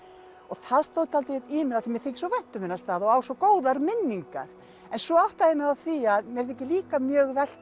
það stóð dálítið í mér af því mér þykir svo vænt um þennan stað og á svo góðar minningar en svo áttaði ég mig á því að mér þykir líka mjög